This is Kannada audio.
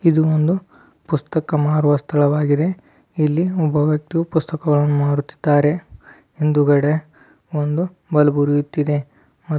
ಇದೊಂದು ಪುಸ್ತಕ ಮಾರುವ ಸ್ಥಳವಾಗಿದೆ ಒಬ್ಬ ವ್ಯಕ್ತಿಯ ಪುಸ್ತಕಗಳನ್ನು ಮಾಡುತ್ತಿದ್ದಾರೆ ಮುಂದಗಡೆ ಒಂದು ಬಲ್ಪು ಉರಿಯುತ್ತಿದೆ.